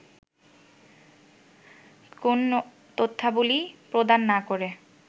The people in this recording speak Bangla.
কোন তথ্যাবলি প্রদান না করে